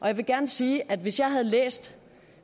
jeg vil gerne sige at hvis jeg havde læst